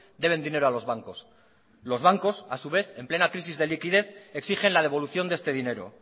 deben dinero a los bancos los bancos a su vez en plena crisis de liquidez exigen la devolución de este dinero